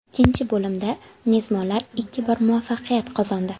Ikkinchi bo‘limda mezbonlar ikki bor muvaffaqiyat qozondi.